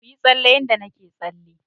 Kuyi tsalle yanda nake tsalle.